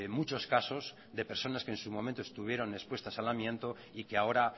muchos casos de personas que en sus momentos estuvieron expuestas al amianto y que ahora